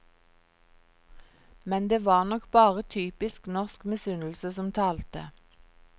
Men det var nok bare typisk norsk misunnelse som talte.